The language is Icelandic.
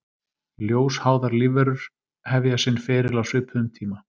Ljósháðar lífverur hefja sinn feril á svipuðum tíma.